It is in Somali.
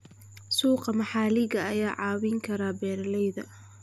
Suuqa maxalliga ah ayaa caawin kara beeralayda.